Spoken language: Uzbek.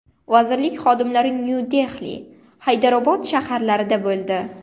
Vazirlik xodimlari Nyu-Dehli, Haydarobod shaharlarida bo‘ldi.